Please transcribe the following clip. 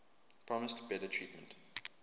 promised better treatment